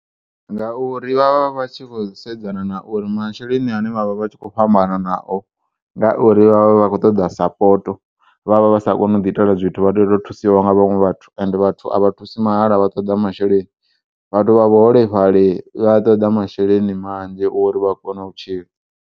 Nga uri vha vha vha tshi kho u sedzana na uri masheleni ane vha vha vha tshikho u fhambana nao, ngauri vha vha vha kho ṱoḓa sapoto, vha vha vha sa koni uḓi itela zwithu vha tea u to thusiwa nga vhaṅwe vhathu ende vhathu a vha thusi mahala vha ṱoḓa masheleni, vhathu vha vhuholefhali vha ṱoḓa masheleni manzhi uri vha kone u tshila.